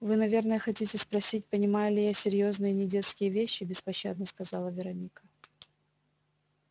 вы наверное хотите спросить понимаю ли я серьёзные недетские вещи беспощадно сказала вероника